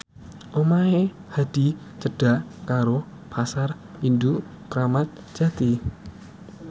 omahe Hadi cedhak karo Pasar Induk Kramat Jati